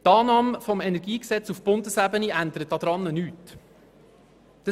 Die Annahme des Energiegesetzes auf Bundesebene ändert nichts daran.